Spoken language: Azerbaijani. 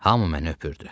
Hamı məni öpdü.